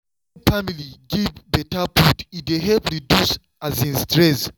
wen family give better food e dey help reduce um stress.